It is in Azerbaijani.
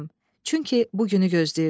Çünki bu günü gözləyirdim.